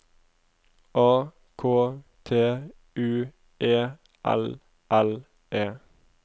A K T U E L L E